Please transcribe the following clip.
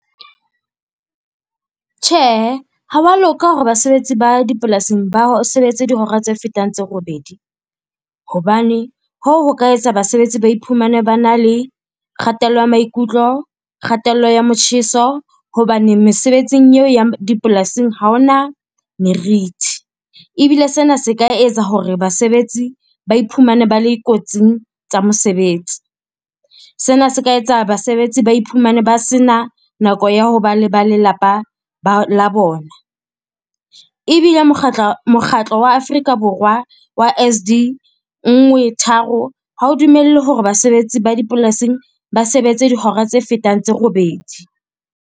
Tjhe, ha wa loka hore basebetsi ba dipolasing ba sebetse dihora tse fetang tse robedi. Hobane hoo ho ka etsa basebetsi ba iphumane ba na le kgatello ya maikutlo, kgatello ya motjheso hobane mesebetsing eo ya dipolasing ha hona meriti. Ebile sena se ka etsa hore basebetsi ba iphumane ba le kotsing tsa mosebetsi. Sena se ka etsa basebetsi ba iphumane ba sena nako ya ho ba le ba lelapa la bona. Ebile mokgatlo wa Afrika Borwa wa S_D-13 ha o dumelle hore basebetsi ba dipolasing ba sebetse dihora tse fetang tse robedi.